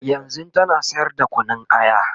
yanzun tana sayar da Kunun aya